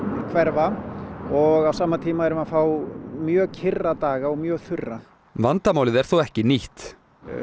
hverfa og á sama tíma erum við að fá mjög kyrra daga og mjög þurra vandamálið er þó ekki nýtt